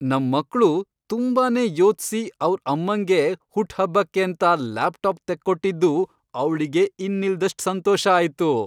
ನಮ್ ಮಕ್ಳು ತುಂಬಾನೇ ಯೋಚ್ಸಿ ಅವ್ರ್ ಅಮ್ಮಂಗೆ ಹುಟ್ಹಬ್ಬಕ್ಕೇಂತ ಲ್ಯಾಪ್ಟಾಪ್ ತೆಕ್ಕೊಟ್ಟಿದ್ದು ಅವ್ಳಿಗೆ ಇನ್ನಿಲ್ದಷ್ಟ್ ಸಂತೋಷ ಆಯ್ತು.